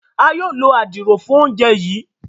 a yóò ló Àdìrò fún oúnjẹ yí.